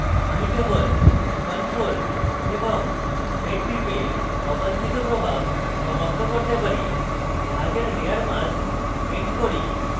আমি কেবল ctrl + z টিপে অবাঞ্ছিত প্রভাব সমাপ্ত করতে পারি এবং এখানে জাহাজের layer mask paint করি